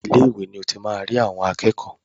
Ilé ìwé ni o ti máa rí àwọn akẹ́kọ̀ọ́.